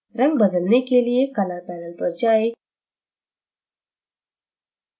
रंग बदलने के लिए color panel पर जाएं